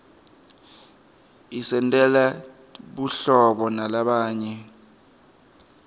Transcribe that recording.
isentela buhlobo nalabanye